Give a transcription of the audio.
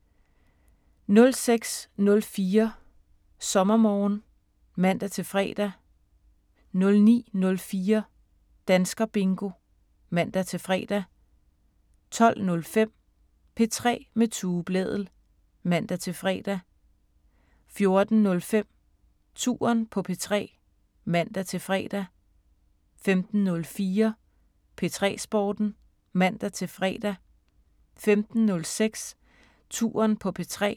06:04: SommerMorgen (man-fre) 09:04: Danskerbingo (man-fre) 12:05: P3 med Tue Blædel (man-fre) 14:04: Touren på P3 (man-fre) 15:04: P3 Sporten (man-fre) 15:06: Touren på P3